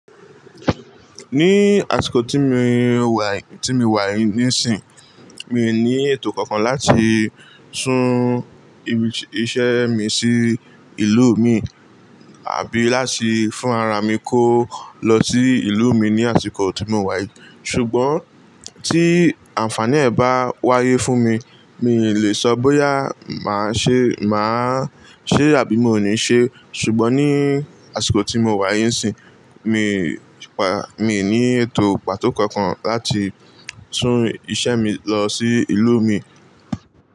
Níí àsìkò tí mi wà, tí mi wà níìsín, mi ní ètò kankan láti sún íṣẹ́ mi sí ìlú mi àbí láti fún arara mi kó lọ sí ìlú mi ní àsìkò tí mọ wa yìí. Ṣùgbọ́n tí àǹfààní ẹ̀ bá wáyé fún mi, mi ò lè sọ bóyá màá ṣe, màá ṣé àbí mo ní ṣe. Ṣùgbọ́n ní àsìkò tí mo wà yìí ìsín, mi, mí ní ètò pàtó kankan láti sún iṣẹ́ mi lọ sí ìlú mi.